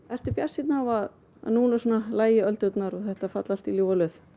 ertu bjartsýnn á að núna lægi öldurnar og þetta falli allt í ljúfa löð